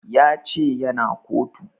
Ya ce ya na kotu